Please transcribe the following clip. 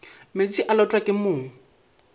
meetse e lotwa ke mong